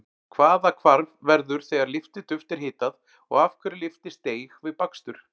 Hvaða hvarf verður þegar lyftiduft er hitað og af hverju lyftist deig við bakstur?